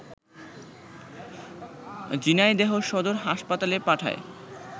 ঝিনাইদহ সদর হাসপাতালে পাঠায়